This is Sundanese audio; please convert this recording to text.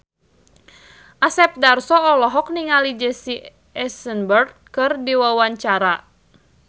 Asep Darso olohok ningali Jesse Eisenberg keur diwawancara